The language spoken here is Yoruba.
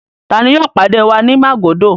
Ta ni yóò pàdé wa ní Màgódò?